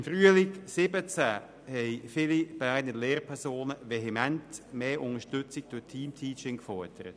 Im Frühling 2017 haben viele Berner Lehrpersonen vehement mehr Unterstützung für Team-Teaching gefordert.